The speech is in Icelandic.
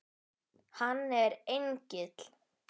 Hann er engill.